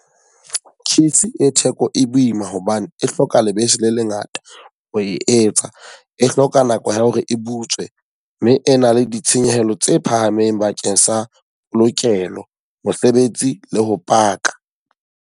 Cheese e theko e boima hobane e hloka lebese le le ngata ho e etsa. E hloka nako ya hore e butswe. Mme e na le ditshenyehelo tse phahameng bakeng sa polokelo, mosebetsi le ho paka.